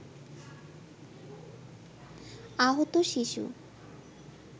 আহত শিশু